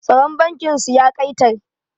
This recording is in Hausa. Tsaron bankin su ya ƙa'itar